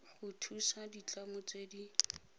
go thusa ditlamo tse di